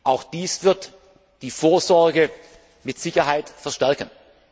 klar. Auch dies wird die Vorsorge mit Sicherheit verstärken.